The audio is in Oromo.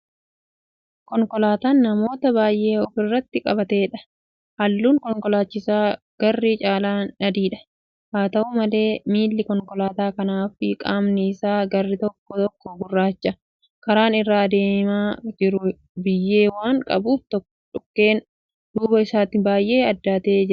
Konkolaataa namoota baay'ee ofirratti qabateedha. halluun konkolaatichaas garri caalaan adiidha. haata'u malee miilli konkolaataa kanaafi qaamni Isaa garri tokko tokko gurraacha. karaan irra adeemaa jiru biyyee waan qabuuf dhukkeen duuba isaatti baay'ee addaatee Jira.